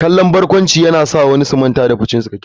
Kallon barkwanci yana sa wasu su manta da fushinsu.